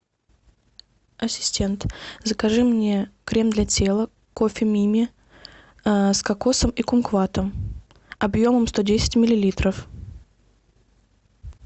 ассистент закажи мне крем для тела кофе мими с кокосом и кумкватом объемом сто десять миллилитров